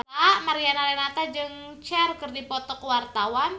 Mariana Renata jeung Cher keur dipoto ku wartawan